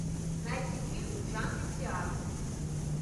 найти фильм в жанре театр